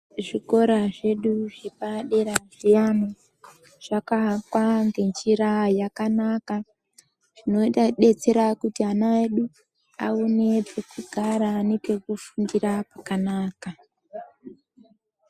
Zvikora zvedu zvepadera zviyani zvakavakwa nenjira yakanaka inoita kudetsera kuti ana edu aone pekugara nepekufundira pakanaka.